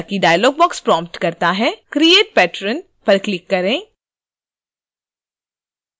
जैसा ही dialog box prompt होता है create patron पर क्लिक करें